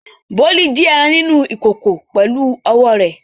Bólú jí ẹran nínú ìkòkò pẹ̀lú ọwọ́ rẹ̀.